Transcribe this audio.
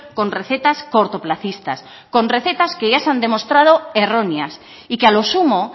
con recetas cortoplacistas con recetas que ya se han demostrado erróneas y que a los sumo